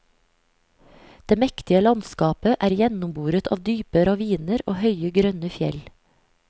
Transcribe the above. Det mektige landskapet er gjennomboret av dype raviner og høye, grønne fjell.